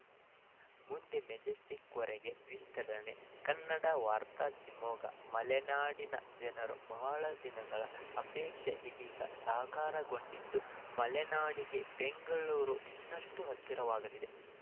ಮುಂದೆ ಮೆಜೆಸ್ಟಿಕ್‌ವರೆಗೆ ವಿಸ್ತರಣೆ ಕನ್ನಡ ವಾರ್ತೆ ಶಿವಮೊಗ್ಗ ಮಲೆನಾಡಿನ ಜನರ ಬಹುದಿನಗಳ ಆಪೇಕ್ಷೆ ಇದೀಗ ಸಾಕಾರಗೊಂಡಿದ್ದು ಮಲೆನಾಡಿಗೆ ಬೆಂಗಳೂರು ಇನ್ನಷ್ಟುಹತ್ತಿರವಾಗಲಿದೆ